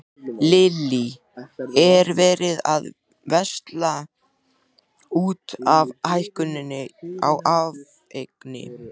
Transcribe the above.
Lillý: Er verið að versla út af hækkuninni á áfengi?